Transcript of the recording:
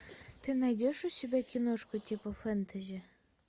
ты найдешь у себя киношку типа фэнтези